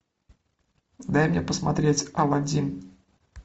дай мне посмотреть алладин